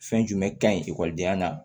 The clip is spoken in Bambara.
Fɛn jumɛn ka ɲi ekɔlidenya la